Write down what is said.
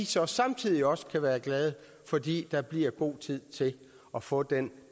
så samtidig også være glade fordi der bliver god tid til at få den